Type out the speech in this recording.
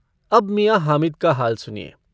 अब मियाँ हामिद का हाल सुनिए।